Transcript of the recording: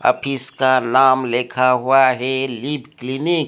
अभी इसका नाम लिखा हुआ है लीव क्लिनिक ।